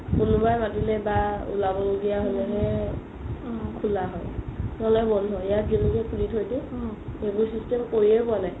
কোনোবাই মাতিলে বা উলাব লগিয়া হ'লে হে খুলা হয় নহ'লে বন্ধো ইয়াত যেনেকে খুলি থই দিও সেইবোৰ system কৰিয়ে পুৱা নাই